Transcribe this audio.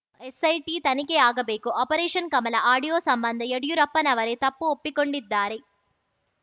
SIT ತನಿಖೆ ಆಗಬೇಕು operation Kamala audio ಸಂಬಂಧ ಯಡಿಯೂರಪ್ಪನವರೇ ತಪ್ಪು ಒಪ್ಪಿಕೊಂಡಿದ್ದಾರೆ